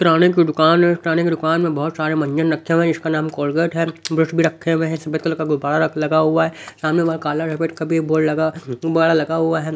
किराने की दुकान है किराने की दुकान में बहुत सारे मंजन रखे हुए हैं इसका नाम कोलगेट है ब्रश भी रखे हुए हैं सफेद कलर का गुबारा लगा हुआ है सामने काला सफेद का भी बोर्ड लगा गुब्बारा लगा हुआ है।